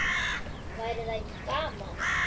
Væri það ekki gaman?